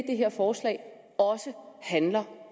det her forslag også handler om